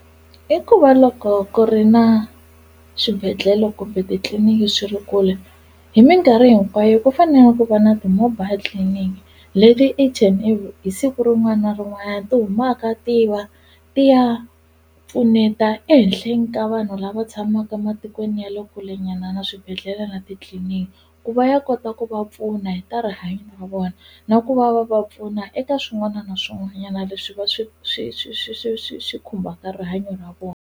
I ku va loko ku ri na swibedhlele kumbe titliliniki swi ri kule hi minkarhi hinkwayo ku fanele ku va na ti-mobile clinic leti each and hi siku rin'wana na rin'wanyana ti humaka tiva ti ya pfuneta ehenhleni ka vanhu lava tshamaka matikweni ya le kulenyana na swibedhlele na titliliniki ku va ya kota ku va pfuna hi ta rihanyo ra vona na ku va va va pfuna eka swin'wana na swin'wanyana leswi va swi swi swi swi swi swi swi khumbhaka rihanyo ra vona.